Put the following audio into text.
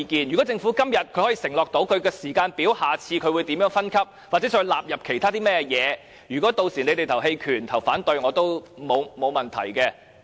如果政府今天可以承諾制訂時間表，並在下次開會詳述將如何分級或進一步納入其他電器，那麼屆時大家表決棄權或反對，我也沒有問題。